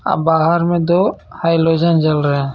और बाहर मे दो हेलोजन जल रहे हे.